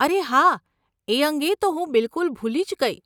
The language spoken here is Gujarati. અરે હા, એ અંગે તો હું બિલકુલ ભૂલી જ ગઇ.